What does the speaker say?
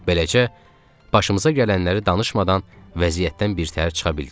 Beləcə, başımıza gələnləri danışmadan vəziyyətdən birtəhər çıxa bildik.